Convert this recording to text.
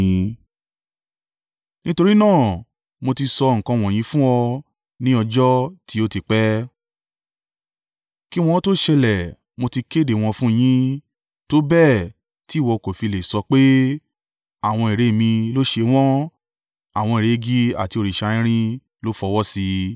Nítorí náà mo ti sọ nǹkan wọ̀nyí fún ọ ní ọjọ́ tí ó ti pẹ́; kí wọn ó tó ṣẹlẹ̀ mo ti kéde wọn fún un yín tó bẹ́ẹ̀ tí ìwọ kò fi lè sọ pé, ‘Àwọn ère mi ló ṣe wọ́n; àwọn ère igi àti òrìṣà irin ló fọwọ́sí i.’